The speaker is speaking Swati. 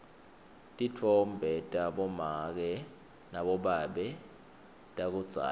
titfombe tabomake nabobabe takudzala